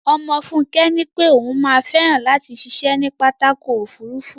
Ọmọ Fúnkẹ́ nípé ó má fẹ́ràn látì ṣiṣé ní pápákọ̀ ofúrufú